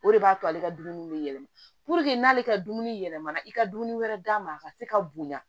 O de b'a to ale ka dumuni bɛ yɛlɛma n'ale ka dumuni yɛlɛmana i ka dumuni wɛrɛ d'a ma a ka se ka bonya